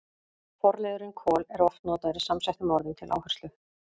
Forliðurinn kol- er oft notaður í samsettum orðum til áherslu.